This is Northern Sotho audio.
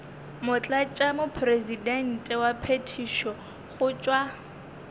motlatšamopresidente wa phethišo go tšwa